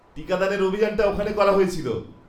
টিকাদানের অভিযানটা ওখানে করা হয়েছিল।